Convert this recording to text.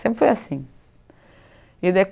Sempre foi assim. E